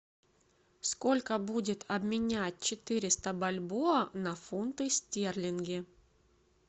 сколько будет обменять четыреста бальбоа на фунты стерлинги